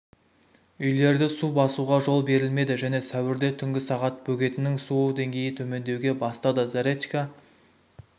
үйлерді су басуға жол берілмеді және сәуірде түнгі сағат бөгеттің су деңгейі төмендеуге бастады заречка